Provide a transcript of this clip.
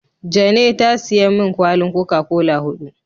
Jane ta siya min kwalin "coca-cola " hudu.